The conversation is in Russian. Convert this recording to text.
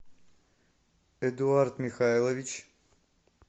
эдуард михайлович